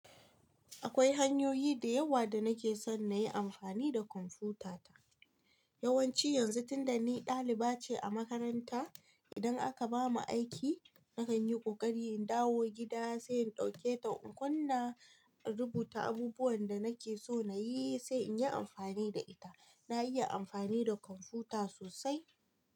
Akwai hanyoyi da yawa da nake son na yi amfani da kwamfutata. Yawanci yanzu tunda ni daliba ce a makaranta, idan aka bamu aiki nakan yi kokari in dawo gida sai in dauke ta in kunna in rubuta abubuwan da nake so na yi sai in yi amfani da ita. Na iya amfani da kwamfuta sosai.